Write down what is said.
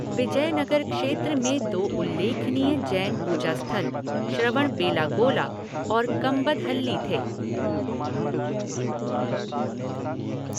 विजयनगर क्षेत्र में दो उल्लेखनीय जैन पूजास्थल, श्रवणबेलागोला और कंबदहल्ली थे।